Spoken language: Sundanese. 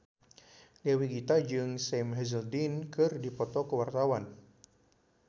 Dewi Gita jeung Sam Hazeldine keur dipoto ku wartawan